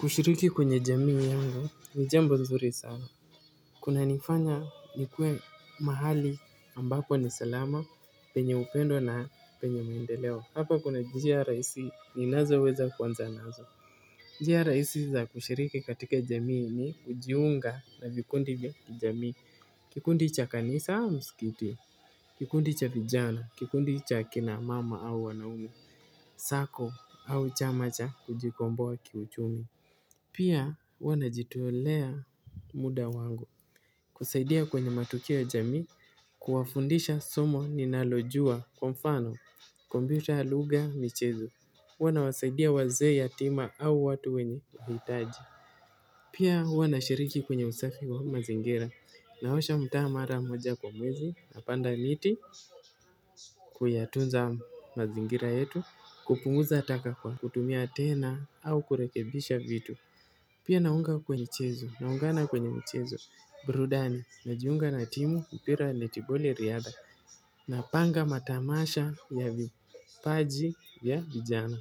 Kushiriki kwenye jamii yangu ni jambo zuri sana. Kunanifanya nikuwe mahali ambapo ni salama, penye upendo na penye maendeleo. Hapa kuna njia rahisi ninazoweza kuanza nazo. Njia rahisi za kushiriki katika jamii ni kujiunga na vikundi vya kijamii. Kikundi cha kanisa au msikiti. Kikundi cha vijana, kikundi cha kina mama au wanaume, sako au chama cha kujikomboa kiuchumi. Pia huwa najitolea muda wangu kusaidia kwenye matukio ya jamii kuwafundisha somo ninalojua kwa mfano kumpyuta lugha michezo. Huwa nawasaidia wazee yatima au watu wenye uhitaji. Pia huwa nashiriki kwenye usafi wa mazingira naosha mtaa mara moja kwa mwezi napanda miti kuyatunza mazingira yetu kupunguza taka kwa. Kutumia tena au kurekebisha vitu. Pia naunga kwenye michezo, naungana kwenye michezo, burudani, najiunga na timu mpira netiboli riadha, napanga matamasha ya vipaji vya vijana.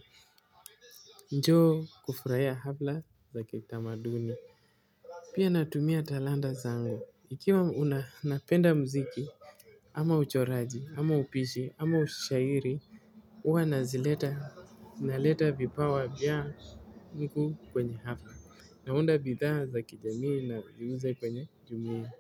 Njoo kufurahia halfa za kitamaduni. Pia natumia talanta zangu, ikiwa napenda muziki, ama uchoraji, ama upishi, ama ushairi. Huwa na zileta, naleta vipawa vyangu kwenye hafla. Naunda bidhaa za kijamii niuze kwenye jumuiya.